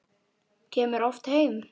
Kemur oft heim.